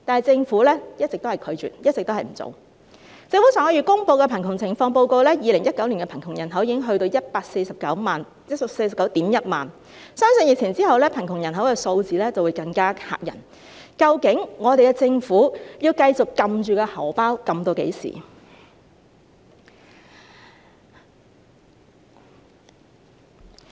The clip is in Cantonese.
政府上月公布的2019年香港貧窮情況報告顯示 ，2019 年的貧窮人口已達 1,491 000人，相信疫情過後，貧窮人口數字會更嚇人，究竟我們的政府要繼續按住口袋至何時？